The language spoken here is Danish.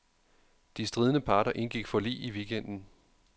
De stridende parter indgik forlig i weekenden.